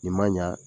Nin man ɲa